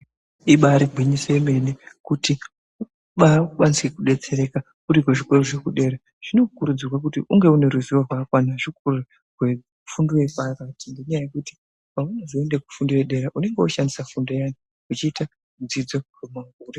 Ibari gwinyiso yemene kuti vakwanise kudetsereka kuri kuzvikora zvekudera zvinokurudzirwa kuti unge une ruzivo rwakakwana zvikuru rwefundo yepakati ngenyaya yekuti paunozoende kufundo yedera unenge wozoshandisa fundo iyani uchiite dzidzo pamakore.